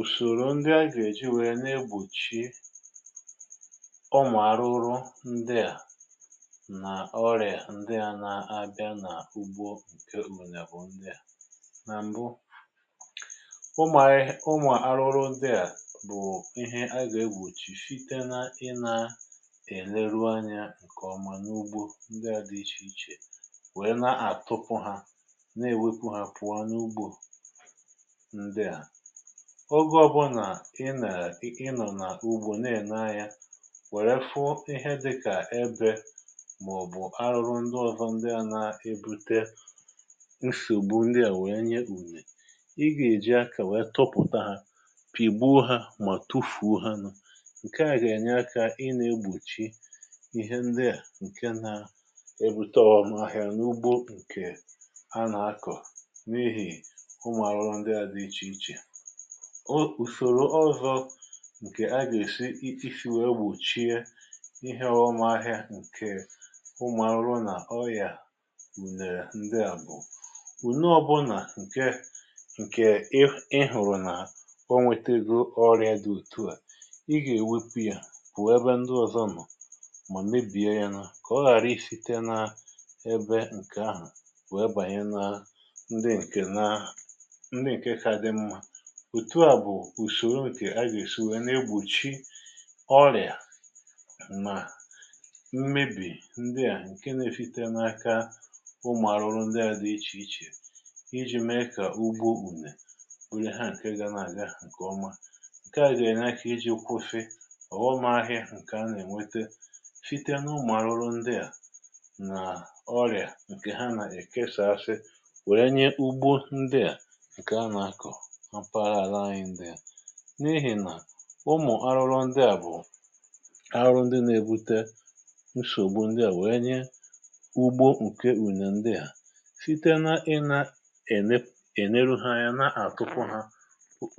Ùsòrò ndị a gà-èji nwèe ne-egbòchie ụmụ̀ arụrụ ndị a, nà ọrịa ndị a na-abịa nà-àhụgbo nkè ụmụ̀là bụ̀ ndị a. Nà m̀bụ, ụmụ̀ àrụrụ ndị a bụ̀ ihe a gà-egbòchì fite na ịnȧ-ène ruo anyȧ ǹkè ọma n’ugbȯ ndị a dị̇ iche iche, nwèe na-àtupu hȧ, na-èwepu hȧ, pụ̀ọ n’ugbȯ ndị a. Ogè ọbụnà ị nàlà, ị nọ̀ nà ugbȯ, na-èna ya, wère fụ ihẹ dịkà ebė, mà ọ̀ bụ̀ arụrụ ndịovȧ, ndịȧ na-ebute nsògbu ndịà wèe nye ùnyè. I gà-èji akȧ wee tụpụta hȧ, pìgbu ha mà tufù ha nụ. Ǹkè a gà-ènye akȧ ị na-egbòchi ihe ndịà, ǹkè na-ebute ọmụmahịa n’ugbo ǹkè a nà-akọ̀, n’ihì ụmụ̀arụrụ ndịà dị iche iche. Ùsòrò ọzọ̇, ǹkè agà-èsi isi wèe gbùchie iheọ̇ ụmụ̀ ahịa, ǹkè ụmụ̀ arụrụ nà ọyà unèrè ndị à bụ̀; ùnọ ọ bụ nà, ǹke ǹkè ị, ị hụ̀rụ̀ nà o nwetego ọrịȧ dị òtu à, ị gà-èwepu yȧ, kwù ebe ndị ọ̀zọ nọ̀, mà mebìe yȧ, nà kà ọ ghàra ị site n’ebé ǹkè ahụ̀ kwù, ebànye nȧ ndị ǹkè nà, ndị nke ka dị mma. Otu a bụ usòro ǹkè agà-èsi wèe nà-egbùchi ọrị̀à mà mmebì ndị à, ǹke nȧ-efite n’aka ụmụ̀ arụrụ ndị à dị iche iche, iji̇ mee ka ụgbo unee bụrụ ha, ǹkè na-àga ǹkè ọma. Ǹkè à gà-ènye aka iji̇ kwụfị ọ̀ghọm ahịa ǹkè a nà-ènwete fita n’ụmụ̀ arụrụ ndị à nà ọrịa ǹkè ha nà-èke saasị wère nye ugbo ndị à a kọọ na mpaghara ala anyi. N’ihì nà ụmụ̀ arụrụ ndị à bụ̀ arụrụ ndị nȧ-ebute nsògbu ndị à, wèe nye ugbo ǹkè ùnè ndị à, site na ịnȧ-ène, ènero ha anya, na-àtụfụ hȧ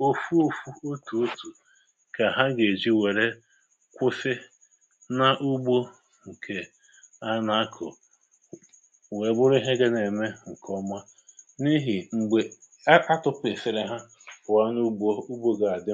òfu òfu, otù otù, kà ha gà-èji wère kwụfị na ugbo ǹkè a nà-akụ̀, wee bụrụ ihe gȧ na-ème ǹkè ọma, n’ihì m̀gbè atụ̀pụ̀ èfere ha puo n'ụgbọ, ụgbọ ga adi.